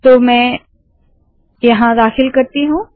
तो मैं यहाँ दाखिल करती हूँ